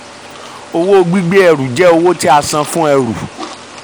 owó gbígbé ẹrù jẹ́ owó tí a san fún ẹrù.